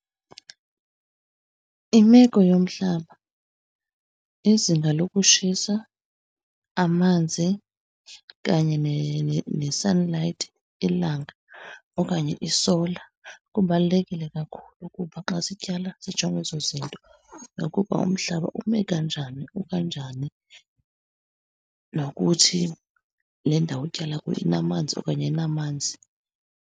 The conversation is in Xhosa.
Imeko yomhlaba, izinga lokutshisa, amanzi kanye ne-sunlight, ilanga okanye i-solar, kubalulekile kakhulu ukuba xa sityala sijonge ezo zinto. Nokuba umhlaba ume kanjani ukanjani. Nokuthi, le ndawo utyala kuyo inamanzi okanye ayinamanzi.